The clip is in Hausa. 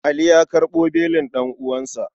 Ali ya karɓo belin ɗan'uwansa.